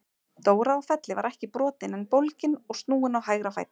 Dóra á Felli var ekki brotin en bólgin og snúin á hægra fæti.